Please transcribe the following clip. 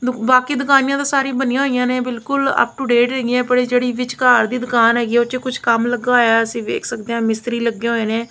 ਬਾਕੀ ਦੁਕਾਨਾਂ ਸਾਰੀ ਬਣੀਆਂ ਹੋਈਆਂ ਨੇ ਬਿਲਕੁਲ ਅਪ ਟੂ ਡੇਟ ਹੈਗੀਆਂ ਬੜੀ ਜਿਹੜੀ ਵਿਚਕਾਰਲੀ ਦੁਕਾਨ ਹੈਗੀ ਆ ਉਹਦੇ ਵਿੱਚ ਕੁਝ ਕੰਮ ਲੱਗਿਆ ਹੋਇਆ ਅਸੀਂ ਵੇਖ ਸਕਦੇ ਆਂ ਮਿਸਤਰੀ ਲੱਗੇ ਹੋਏ ਨੇ --